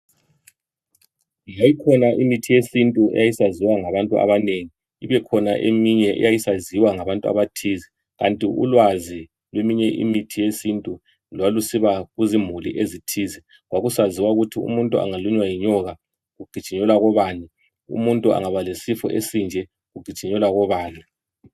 Yayikhona imithi yesintu yayisaziwa ngabathu abanengi, ibe khona iminye yayisaziwa ngabathu abathize. Kanti ulwazi lweminye imithi yesintu lwalusiba kuzimuli ezithize. Kwakusaziwa ukuthi umuntu angalunywa yinyoka kugijinyelwa kobani, umuntu aba lesifo esinje kugijinyelwa kobani.